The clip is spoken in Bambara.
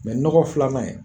Mɛ nɔgɔ filanan in